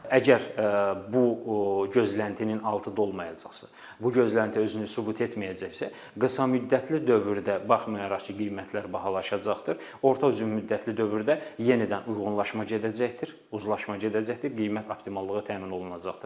Əgər bu gözləntinin altı dolmayacaqsa, bu gözlənti özünü sübut etməyəcəksə, qısamüddətli dövrdə baxmayaraq ki, qiymətlər bahalaşacaqdır, orta uzunmüddətli dövrdə yenidən uyğunlaşma gedəcəkdir, uzlaşma gedəcəkdir, qiymət optimallığı təmin olunacaqdır.